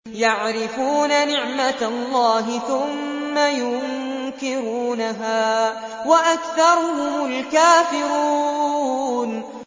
يَعْرِفُونَ نِعْمَتَ اللَّهِ ثُمَّ يُنكِرُونَهَا وَأَكْثَرُهُمُ الْكَافِرُونَ